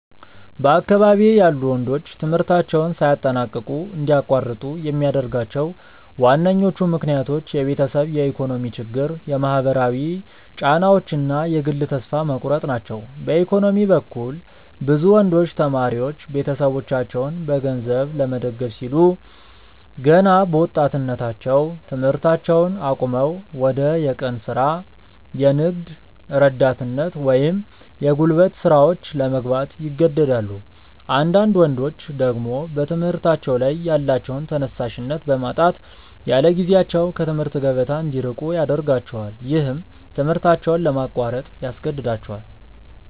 በአካባቢዬ ያሉ ወንዶች ትምህርታቸውን ሳያጠናቅቁ እንዲያቋርጡ የሚያደርጓቸው ዋነኞቹ ምክንያቶች የቤተሰብ የኢኮኖሚ ችግር፣ የማህበራዊ ጫናዎች እና የግል ተስፋ መቁረጥ ናቸው። በኢኮኖሚ በኩል፣ ብዙ ወንዶች ተማሪዎች ቤተሰቦቻቸውን በገንዘብ ለመደገፍ ሲሉ ገና በወጣትነታቸው ትምህርታቸውን አቁመው ወደ የቀን ሥራ፣ የንግድ ረዳትነት ወይም የጉልበት ሥራዎች ለመግባት ይገደዳሉ። አንዳንዳድ ወንዶች ደግሞ በትምህርታቸው ላይ ያላቸውን ተነሳሽነት በማጣት ያለጊዜያቸው ከትምህርት ገበታ እንዲርቁ ያደርጋቸዋል። ይህም ትምህርታቸውን ለማቋረጥ ያስገድዳቸዋል።